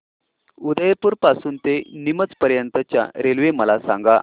उदयपुर पासून ते नीमच पर्यंत च्या रेल्वे मला सांगा